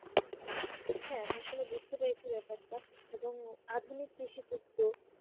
হ্যাঁ আমি আসলে বুঝতে পেরেছি ব্যাপারটা এবং আধুনিক কৃষি পণ্য